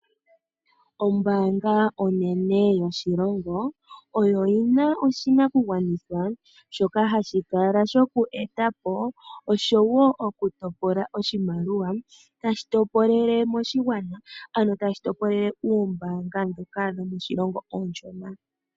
Ombaanga onene yoshilongo oyo yina oshinakugwanithwa shoka hashi kala shoku eta po oshowo oku topola oshimaliwa. Tayi topolele moshigwana ano tayi topolele oombaanga ndhoka dhomoshilongo oonshona.